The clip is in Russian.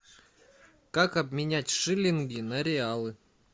как обменять шиллинги на реалы